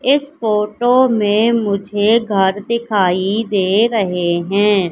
इस फोटो में मुझे घर दिखाई दे रहे हैं।